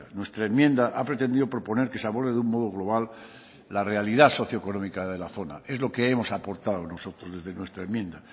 nuestra enmienda ha pretendido proponer que se aborde de un modo global la realidad socio económica de la zona es lo que hemos aportado nosotros desde nuestra enmienda